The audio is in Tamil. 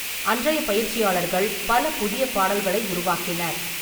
அன்றைய பயிற்சியாளர்கள் பல புதிய பாடல்களை உருவாக்கினர்.